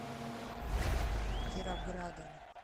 кировградом